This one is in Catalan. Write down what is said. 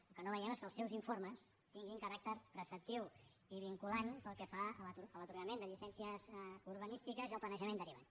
el que no veiem és que els seus informes tinguin caràcter preceptiu i vinculant pel que fa a l’atorgament de llicències urbanístiques i al planejament derivat